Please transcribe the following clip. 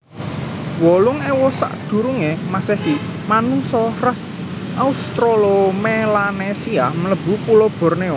wolung ewu sakdurunge masehi Manungsa ras Austrolomelanesia mlebu pulo Bornéo